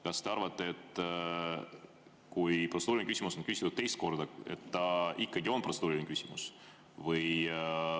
Kas te arvate, et kui protseduuriline küsimus on küsitud teist korda, siis ta ikkagi on protseduuriline küsimus?